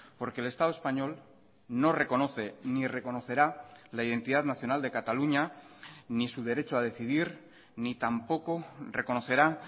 porque el estado español no reconoce ni reconocerá la identidad nacional de cataluña ni su derecho a decidir ni tampoco reconocerá